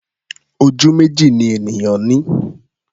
Ojú méjì ni ènìyàn ní.